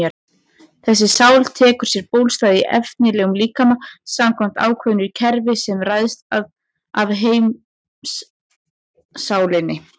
Þessi sál tekur sér bólstað í efnislegum líkama samkvæmt ákveðnu kerfi sem ræðst af heimssálinni.